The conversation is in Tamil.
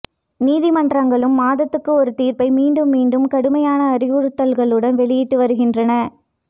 நீதிமன்றங்களும் மாதத்துக்கு ஒரு தீர்ப்பை மீண்டும் மீண்டும் கடுமையான அறிவுறுத்தல்களுடன் வெளியிட்டு வருகின்ற